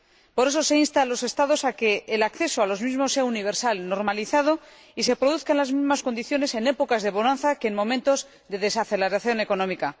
Por eso, se insta a los Estados a que el acceso a los mismos sea universal y normalizado, y se produzca en las mismas condiciones en épocas de bonanza que en momentos de desaceleración económica.